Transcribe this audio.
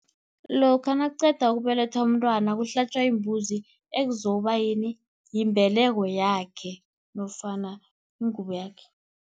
Lokha nakuqeda ukubelethwa umntwana kuhlatjwa, imbuzi ekuzokuba yini? Yimbeleko yakhe nofana ingubo yakhe.